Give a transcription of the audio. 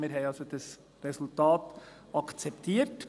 Wir haben also das Resultat akzeptiert.